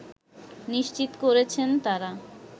নিশ্চিত করেছেন তারা